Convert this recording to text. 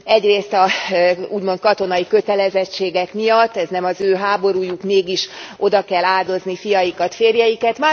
Egyrészt az úgymond katonai kötelezettségek miatt ez nem az ő háborújuk, mégis oda kell áldozni fiaikat férjeiket.